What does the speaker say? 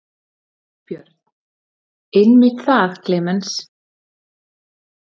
Björn: Einmitt það Klemenz.